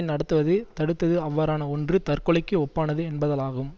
நடத்துவதை தடுத்தது அவ்வாறான ஒன்று தற்கொலைக்கு ஒப்பானது என்பதாலாகும்